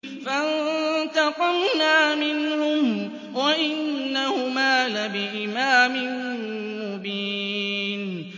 فَانتَقَمْنَا مِنْهُمْ وَإِنَّهُمَا لَبِإِمَامٍ مُّبِينٍ